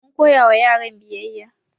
Mun koya wa yaran biyayya